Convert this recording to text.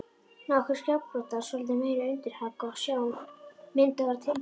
Nokkrir skeggbroddar, svolítið meiri undirhaka og sjá: Myndin var tilbúin.